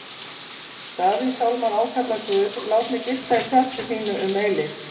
Davíðssálmar ákalla Guð: Lát mig gista í tjaldi þínu um eilífð.